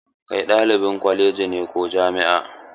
Kai ɗalibin kwaleji ne ko jami'a?